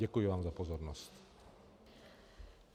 Děkuji vám za pozornost.